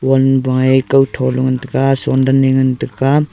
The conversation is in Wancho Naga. pon baiye kao thole ngan tega soin dan eh ngantega.